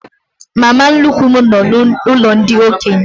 Mama nnukwu m nọ n'ụlọ ndị okenye.